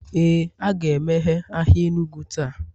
Ee, a ga-emeghe ahịa enugu taa